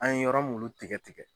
An ye yɔrɔ mulu tigɛ tigɛ